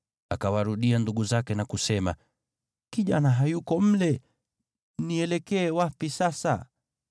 Akawarudia ndugu zake na kusema, “Kijana hayuko mle! Nielekee wapi sasa?”